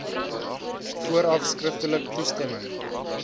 vooraf skriftelik toestemming